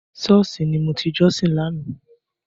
Sọ́ọ̀ṣì ni mo ti jọ́sìn lánàá.